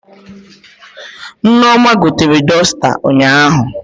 Nneoma gotere dọsta ụnyaahụ